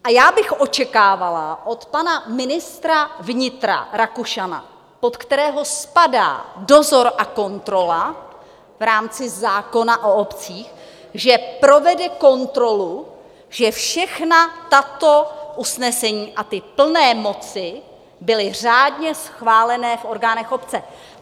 A já bych očekávala od pana ministra vnitra Rakušana, pod kterého spadá dozor a kontrola v rámci zákona o obcích, že provede kontrolu, že všechna tato usnesení a ty plné moci byly řádně schválené v orgánech obce.